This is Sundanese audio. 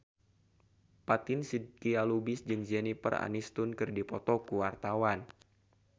Fatin Shidqia Lubis jeung Jennifer Aniston keur dipoto ku wartawan